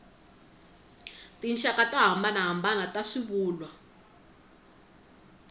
tinxaka to hambanahambana ta swivulwa